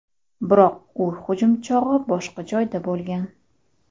Biroq u hujum chog‘i boshqa joyda bo‘lgan.